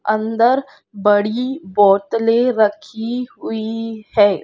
अंदर बड़ी बोतले रखी हुई है।